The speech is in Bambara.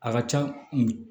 A ka ca